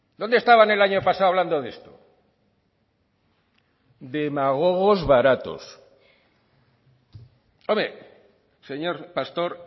dónde estaban el año pasado hablando de esto demagogos baratos hombre señor pastor